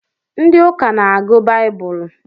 Ndị ụka n'agụ baibulu